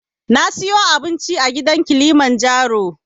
Na siyo abinci a gidan abincin na kilimanjaro